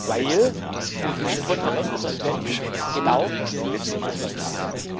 Weil die Konferenz der Präsidenten genau dies beschlossen hat.